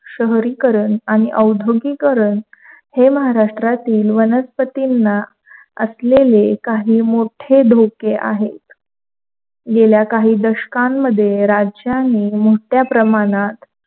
शहरीकरण आणि औद्योगिकीकरण हे महाराष्ट्रातील वनस्पतींना असलेले काही मोठे धोके आहेत. गेली काही दशकामध्ये राज्यांनी मोठ्या प्रमाणात,